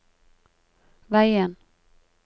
veien